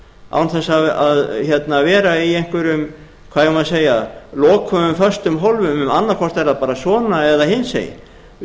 án þess að vera í einhverjum hvað eigum við að segja lokuðum föstum hólfum annaðhvort er það bara svona eða hinsegin við